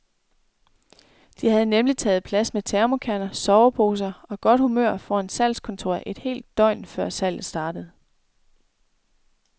De havde nemlig taget plads med thermokander, soveposer og godt humør foran salgskontoret et helt døgn, før salget startede.